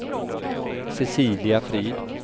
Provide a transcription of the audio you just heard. Cecilia Frid